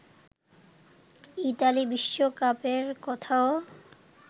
Italy বিশ্বকাপের কথাও